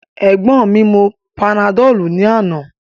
Egbọn mi mu panadolu ni ana.